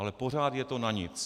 Ale pořád je to na nic.